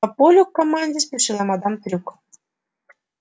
по полю к команде спешила мадам трюк